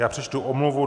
Já přečtu omluvu.